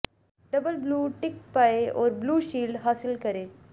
double blue tick पाएं और blue shield हासिल करें